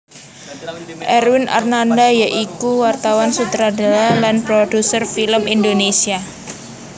Erwin Arnada ya iku wartawan sutradara lan produser film Indonesia